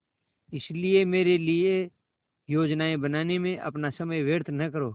इसलिए मेरे लिए योजनाएँ बनाने में अपना समय व्यर्थ न करो